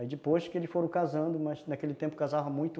Aí depois que eles foram casando, mas naquele tempo casava muito,